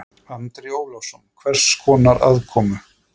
Andri Ólafsson: Hvers konar aðkomu?